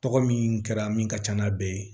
Tɔgɔ min kɛra min ka ca n'a bɛɛ ye